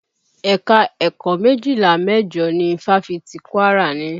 Ẹ̀ka ẹ̀kọ́ méjìlá mẹ́jọ ni fáfitì Kwara ní.